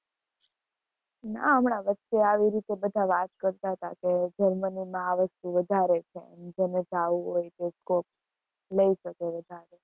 ના, હમણાં વચ્ચે આવી રીતે બધા વાત કરતા હતા કે જર્મનીમાં આ વસ્તુ વધારે છે, જેને જાવું હોય એને scope લઇ શકે વધારે